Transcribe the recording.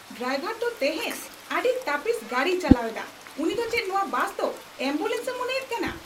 Driver ᱫᱚ ᱛᱮᱦᱮᱧ ᱟᱹᱰᱤ ᱛᱟᱹᱯᱤᱥ ᱜᱟᱹᱰᱤᱭ ᱪᱟᱞᱟᱣ ᱮᱫᱟ ᱾ ᱩᱱᱤ ᱫᱚ ᱪᱮᱫ ᱱᱚᱶᱟ ᱵᱟᱥᱫᱚ ᱮᱢᱵᱩᱞᱮᱱᱥᱼᱮ ᱢᱚᱱᱮᱭᱮᱫ ᱠᱟᱱᱟ ?